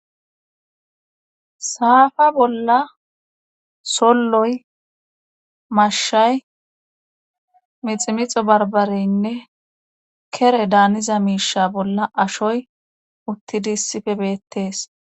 saafa bolla solloy mashshay miximixo barbareynne kere daaniza miisha bolla ashoy uttidi issife beettees